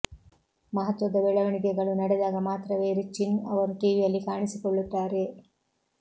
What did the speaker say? ಮಹತ್ವದ ಬೆಳವಣಿಗೆಗಳು ನಡೆದಾಗ ಮಾತ್ರವೇ ರಿ ಚುನ್ ಅವರು ಟಿವಿಯಲ್ಲಿ ಕಾಣಿಸಿ ಕೊಳ್ಳುತ್ತಾರೆ